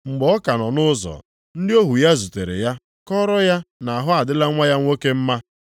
Mgbe ọ ka nọ nʼụzọ, ndị ohu ya zutere ya kọọrọ ya na ahụ adịla nwa ya nwoke mma.